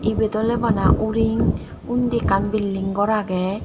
ibet oley bana uring undi ekkan bilding gor agey.